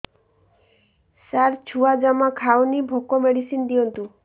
ସାର ଛୁଆ ଜମା ଖାଉନି ଭୋକ ମେଡିସିନ ଦିଅନ୍ତୁ